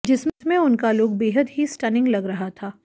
जिसमें उनका लुक बेहद ही स्टनिंग लग रहा था